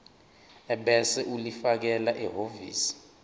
ebese ulifakela ehhovisi